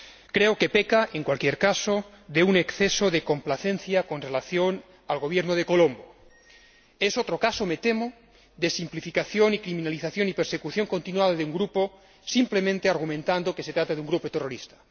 Creo que peca, en cualquier caso, de un exceso de complacencia con relación al Gobierno de Colombo. Es otro caso, me temo, de simplificación, criminalización y persecución continuada de un grupo, simplemente argumentando que se trata de un grupo terrorista.